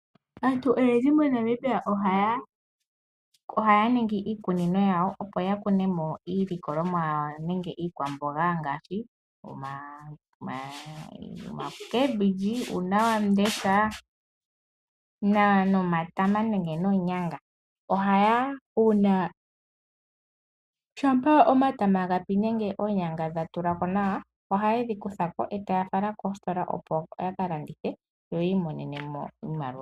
Aantu oyendji moNamibia ohaya ningi iikuninonyawo opo yakunemo iikwamboga ngaashi omboga, uunawamundesha, nomatama nenge noonyanga. Shampa omatama noonyanga dhapi nenge dhatulako nawa ohaye dhikuthako etaya fala koositola opo ya kalandithe yi imonenemo iimaliwa.